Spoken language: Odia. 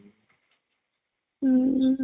ହୁଁ